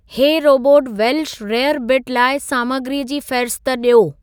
हे robot Welsh rarebit लाइ सामग्रीअ जी फ़हिरिस्त ॾियो